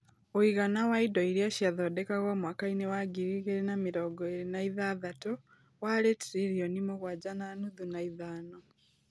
Ũigana wa indo iria ciathondekagwo mwaka-inĩ wa ngiri igĩrĩ na mĩrongo ĩĩrĩ na ithathatũ, warĩ trillioni mũgwanja na nuthu na ithano.